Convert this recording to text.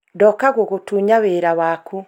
ndoka gũgũtunya wĩra waku